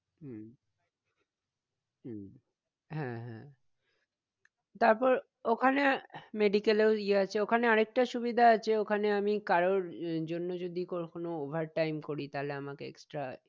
হম হম হ্যাঁ হ্যাঁ তারপরে ওখানে medical এও ইয়ে আছে ওখানে আর একটা সুবিধা আছে ওখানে আমি কারোর জন্য জদি কো~কোনো overtime করি তাহলে আমাকে extra